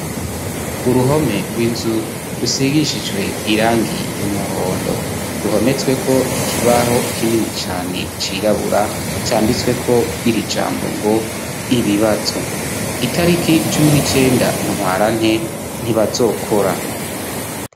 uruhome rw'inzu rusigishijwe irangi ry'umuhondo ruhometsweko ikibaho kinini cane cirabura canditsweko iri jambo ngo ibibatso itariki cumi n'icenda ntwarante ntibazokora